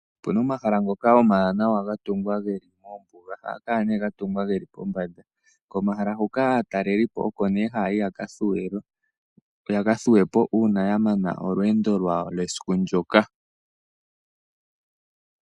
Opu na omahala ngoka omawanawa ga tungwa ge li mombuga. Ohaga kala ga tungwa ge li pombanda. Komahala huka aatalelipo oko nduno haya yi ya ka thuwe po uuna ya mana olweendo lwawo lwesiku ndyoka.